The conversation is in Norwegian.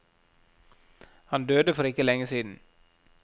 Han døde for ikke lenge siden.